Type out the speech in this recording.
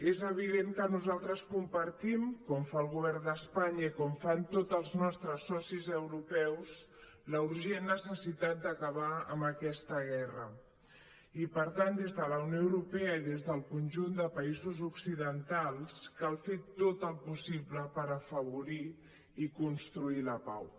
és evident que nosaltres compartim com fa el govern d’espanya i com fan tots els nostres socis europeus la urgent necessitat d’acabar amb aquesta guerra i per tant des de la unió europea i des del conjunt de països occidentals cal fer tot el possible per afavorir i construir la pau